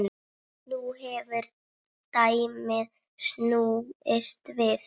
Nú hefur dæmið snúist við.